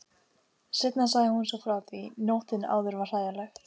Seinna sagði hún svo frá því: Nóttin áður var hræðileg.